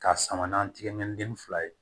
K'a sama n'an tɛgɛ minɛ ni den fila ye